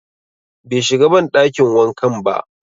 Be shiga banɗakin wankan ba